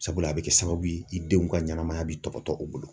Sabula , a bɛ kɛ sababu ye , i denw ka ɲɛnamaya bɛ tɔbɔtɔ u bolo.